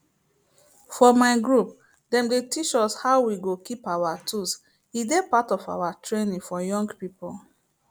for my group them dey teach us how we go keep our tools e dey part of our training for young people